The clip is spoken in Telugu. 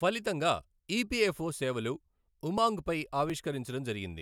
ఫలితంగా ఇపిఎఫ్ఓ సేవలు ఉమాంగ్పై ఆవిష్కరించడం జరిగింది.